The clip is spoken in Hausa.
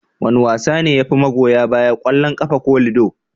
Wane wasa ne yafi magoya baya, kwallon kafa ko lido?